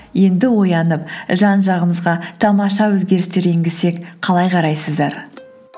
енді оянып жан жағымызға тамаша өзгерістер енгізсек қалай қарайсыздар